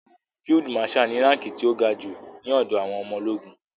Field marshal ni ránkí ti ó ga jù ní ọ̀dọ̀ àwọn ọmọ ológun.